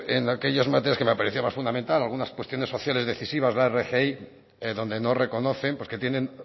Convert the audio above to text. en aquellas materias que me parecía más fundamental algunas cuestiones sociales decisivas la rgi donde no reconocen porque tienen